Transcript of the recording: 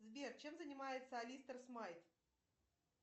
сбер чем занимается алистер смайт